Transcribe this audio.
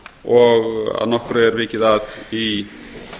og að nokkru er vikið að í